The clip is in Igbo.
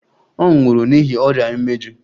Ọ nwụrụ n'ihi ọrịa imeju.